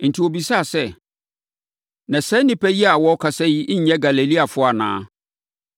Enti, wɔbisaa sɛ, “Na saa nnipa yi a wɔrekasa yi nyɛ Galileafoɔ anaa?